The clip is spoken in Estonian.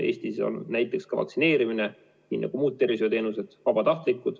Eestis on ikka olnud ka vaktsineerimine, nii nagu muud tervishoiuteenused, vabatahtlik.